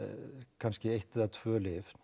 kannski eitt eða tvö lyf